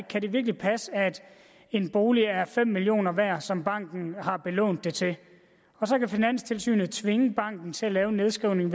kan passe at en bolig er fem million kroner værd som banken har belånt den til og så kan finanstilsynet tvinge banken til at lave en nedskrivning